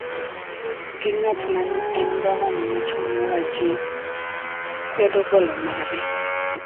gi ng�at ma ne en Gavana machon mar Wajir, kwedo golo mare.